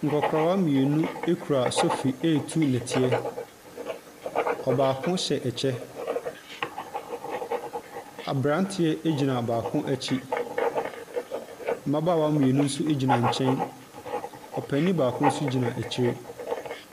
Nkɔkora mmienu kura sofi retu nnɛteɛ. Ɔbaako hyɛ kyɛ. Aberanteɛ gyinaa baako akyi. Mmabaawa mmienu nso gyina nkyɛn. Ɔpanin baako nso gyina akyire.